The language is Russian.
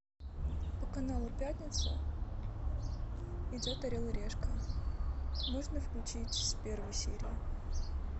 по каналу пятница идет орел и решка можно включить с первой серии